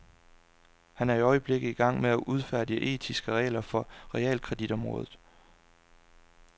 Han er i øjeblikket i gang med at udfærdige etiske regler for realkreditområdet.